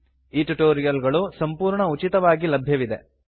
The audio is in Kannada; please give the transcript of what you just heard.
ಈ ಟ್ಯುಟೋರಿಯಲ್ ಗಳು ಸಂಪೂರ್ಣ ಉಚಿತವಾಗಿ ಲಭ್ಯವಿದೆ